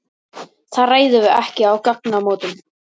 Það ræðum við ekki á gatnamótum.